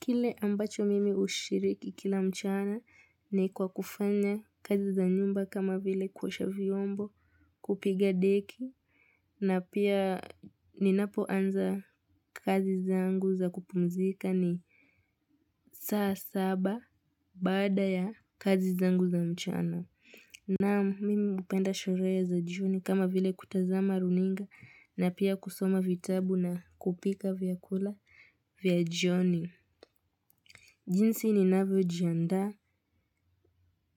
Kile ambacho mimi ushiriki kila mchana ni kwa kufanya kazi za nyumba kama vile kuosha vyombo kupiga deki na pia ninapo anza kazi zangu za kupumzika ni saa saba badaa ya kazi zangu za mchana. Na mimi upenda sherehe za jioni kama vile kutazama runinga na pia kusoma vitabu na kupika vyakula vya jioni. Jinsi ninavyo jiandaa